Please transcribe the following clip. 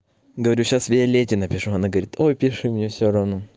говорю сейчас виолетте напишу она говорит ой пиши мне все равно